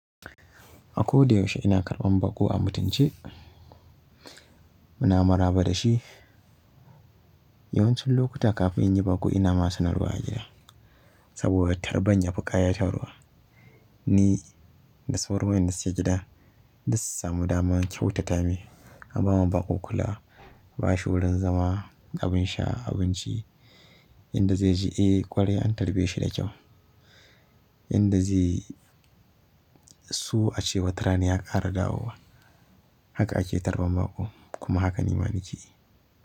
A ko da yaushe ina karɓan baƙo a mutunce, muna maraba da shi. Yawancin lokuta kafin in yi baƙo ina ma sanarwa a gida saboda tarban ya fi ƙayatawa. Ni da sauran waye da suke gida duk su samu dama kyautata mai an bama baƙo kula, ba shi wurin zama, abin sha, abinci inda zai ji eh ƙwarai an tarbe shi da kyau. Inda zai so a ce wata rana ya ƙara dawowa. Haka ake tarban baƙo kuma haka nima nake yi.